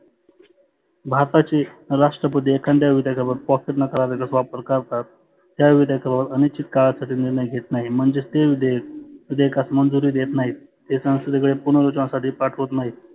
भारताची राष्ट्रपती एखाद्या विधयाकावर pocket नकाराचा वापर करतात त्या विधेयकावर अनिश्चीत काळासाठी निर्णय घेत नाही. म्हणजे ते विधेयकास मंजुरी देत नाहीत. ते संसदेकडे पुनर नुतनासाठी पाठवत नाहीत.